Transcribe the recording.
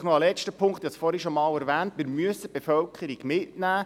Ein letzter Punkt: Wie gesagt, müssen wir die Bevölkerung mitnehmen.